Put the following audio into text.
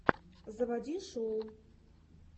заводи шоу